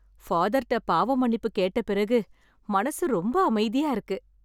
ஃபாதர்ட்ட பாவ மன்னிப்பு கேட்ட பிறகு மனசு ரொம்ப அமைதியா இருக்கு.